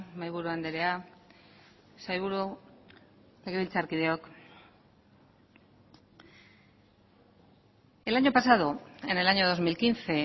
mahaiburu andrea sailburu legebiltzarkideok el año pasado en el año dos mil quince